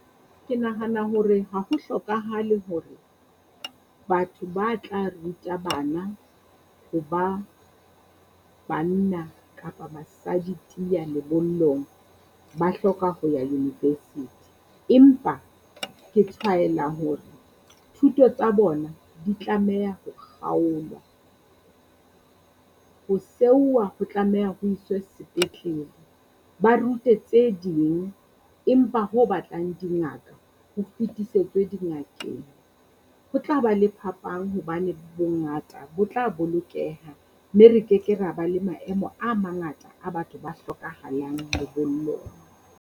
Ke nahana hore ha ho hlokahale hore batho ba tla ruta bana ho ba banna kapa basadi tiya lebollong, ba hloka ho ya university. Empa ke tshwaela hore thuto tsa bona di tlameha ho kgaolwa, ho seuwa ho tlameha ho iswe sepetlele. Ba rute tse ding empa ho batlang di ngata ho fetisetswe dingakeng. Ho tla ba le phapang hobane bongata bo tla bolokeha mme re keke ra ba le maemo a mangata a batho ba hlokahalang lebollong.